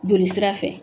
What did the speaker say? Joli sira fɛ